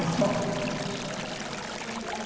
É só a não a gente sai daqui e já pode combinar.